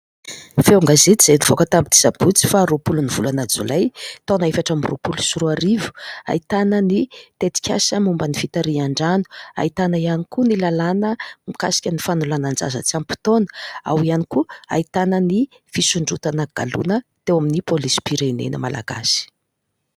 Feo gazety izay nivoaka tamin'ny asabotsy faha roapolo ny volana jolay 2024 ahitany ny tetikasa momba ny fitarian-drano, ahitana iany koa ny làlana mikasika ny fanolanan-jaza tsy ampy taona, ao iany koa no ahitana ny fisondrotana galona teo amin'ny polisim-pirenena malagasy.